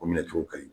O minɛ cogo ka ɲi